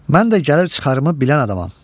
Mən də gəlir-çıxarımı bilən adamam.